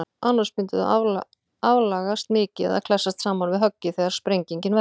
Annars myndu þau aflagast mikið eða klessast saman við höggið þegar sprengingin verður.